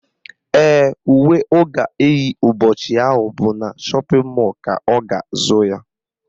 Ee, uwe ọ ga-eyi ụbọchị ahụ bụ na shọpịn mọlụ ka ọ ga-azụ ya